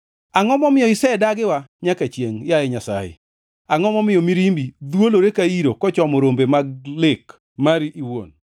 Angʼo momiyo isedagiwa nyaka chiengʼ, yaye Nyasaye? Angʼo momiyo mirimbi dhwolore ka iro kochomo rombe mag lek mari iwuon?